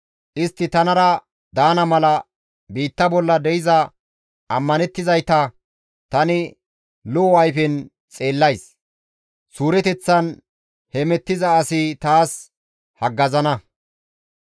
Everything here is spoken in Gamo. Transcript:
Istti tanara daana mala biitta bolla de7iza ammanettizayta tani lo7o ayfen xeellays. Suureteththan hemettiza asi taas haggazana.